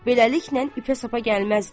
Beləliklə ipə-sapa gəlməzdi.